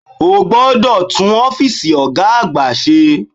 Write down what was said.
O gbodò tún Ófììsì Ògá àgbà se